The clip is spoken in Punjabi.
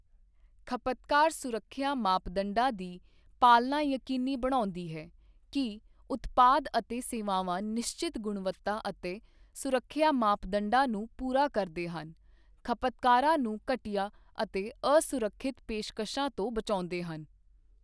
ਖਪਤਕਾਰ ਸੁਰੱਖਿਆ ਮਾਪਦੰਡਾਂ ਦੀ ਪਾਲਨਾ ਯਕੀਨੀ ਬਣਾਉਂਦੀ ਹੈ ਕਿ ਉਤਪਾਦ ਅਤੇ ਸੇਵਾਵਾਂ ਨਿਸ਼ਚਿਤ ਗੁਣਵੱਤਾ ਅਤੇ ਸੁਰੱਖਿਆ ਮਾਪਦੰਡਾਂ ਨੂੰ ਪੂਰਾ ਕਰਦੇ ਹਨ, ਖਪਤਕਾਰਾਂ ਨੂੰ ਘਟੀਆ ਅਤੇ ਅਸੁਰੱਖਿਅਤ ਪੇਸ਼ਕਸ਼ਾਂ ਤੋਂ ਬਚਾਉਂਦੇ ਹਨ।